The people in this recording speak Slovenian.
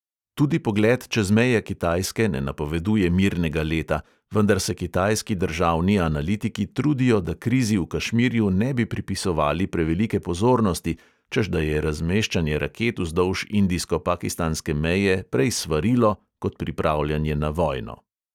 Tudi pogled čez meje kitajske ne napoveduje mirnega leta, vendar se kitajski državni analitiki trudijo, da krizi v kašmirju ne bi pripisovali prevelike pozornosti, češ da je razmeščanje raket vzdolž indijsko-pakistanske meje prej svarilo kot pripravljanje na vojno.